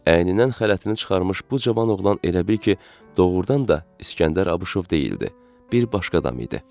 Əynindən xələtini çıxarmış bu cavan oğlan elə bil ki, doğurdan da İsgəndər Abuşov deyildi, bir başqa adam idi.